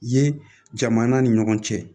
Ye jamana ni ɲɔgɔn cɛ